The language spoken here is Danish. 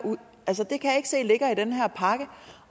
pakke